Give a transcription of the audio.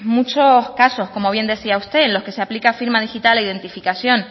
muchos casos como bien decía usted en los que se aplica firma digital e identificación